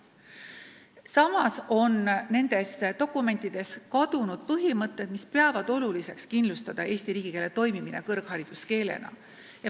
Samas on nendes dokumentides kirja panemata põhimõte, et on oluline kindlustada eesti riigikeele toimimine kõrghariduskeelena.